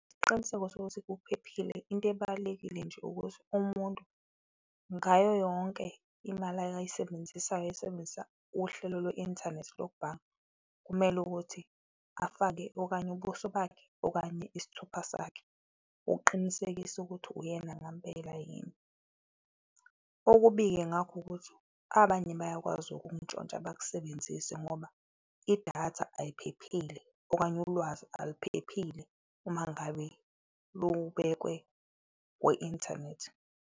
Isiqiniseko sokuthi kuphephile, into ebalulekile nje ukuthi umuntu ngayo yonke imali ayisebenzisayo, asebenzisa uhlelo lweinthanethi lokubhanga, kumele ukuthi afake okanye ubuso bakhe okanye isithupa sakhe, ukuqinisekisa ukuthi uyena ngempela yini. Okubi-ke ngakho ukuthi abanye bayakwazi ukukuntshontsha, bakusebenzise ngoba idatha ayiphephile okanye ulwazi aliphephile umangabe lubekwe kwi inthanethi.